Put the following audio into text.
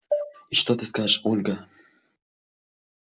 и что ты скажешь ольга